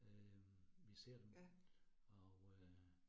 Øh vi ser dem og øh